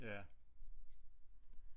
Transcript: Ja